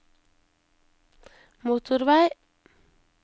motorvei